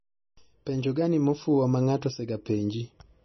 Penjo gani mofuwo ma ng'ato ose ga penji